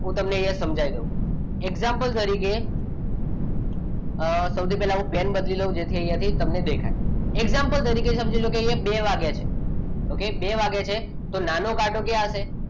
હું તમને અહીંયા સમજાવી દઉં example તરીકે સૌથી પહેલા હું plan બદલી દઉં જેથી તમને અહીંયા દેખાય example તરીકે સમજી લો અહીંયા બે વાગ્યા છે ઓકે બે વાગ્યા છે તો નાનો કાંટો ક્યાં હશે